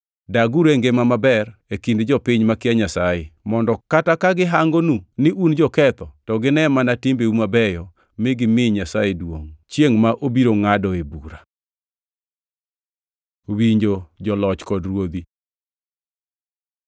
Daguru e ngima maber e kind jopiny makia Nyasaye mondo kata ka gihangonu ni un joketho to gine mana timbeu mabeyo mi gimi Nyasaye duongʼ chiengʼ ma obiro ngʼadoe bura. Winjo joloch kod ruodhi